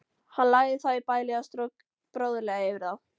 Hann lagði þá í bælið og strauk bróðurlega yfir þá.